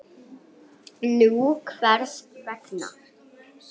Nú, hvers vegna?